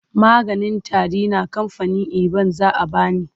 Maganin tari na kamfanin eban za a ba ni.